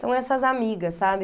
São essas amigas, sabe?